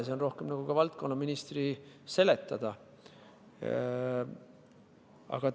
See on rohkem nagu selle valdkonna ministri seletada.